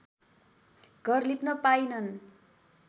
घर लिप्न पाइनन्